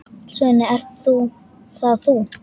Svenni, ert það þú!?